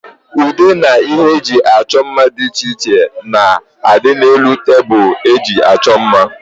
Ude na ihe eji achọ mma dị iche iche na adị n'elu tebụl eji achọ mma